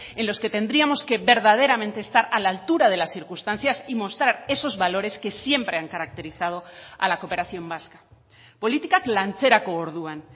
en los que tendríamos que verdaderamente estar a la altura de las circunstancias y mostrar esos valores que siempre han caracterizado a la cooperación vasca politikak lantzerako orduan